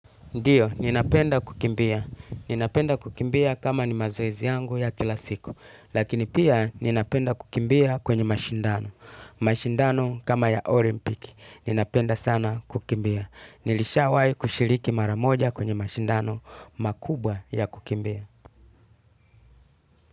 Ndiyo, ninapenda kukimbia. Ninapenda kukimbia kama ni mazoezi yangu ya kila siku. Lakini pia ninapenda kukimbia kwenye mashindano mashindano kama ya olimpiki. Ninapenda sana kukimbia. Nilishawahi kushiriki mara moja kwenye mashindano makubwa ya kukimbia.